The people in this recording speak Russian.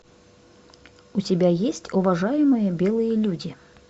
у тебя есть уважаемые белые люди